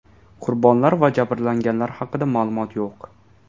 Qurbonlar va jabrlanganlar haqida ma’lumot yo‘q.